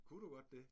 Kunne du godt det?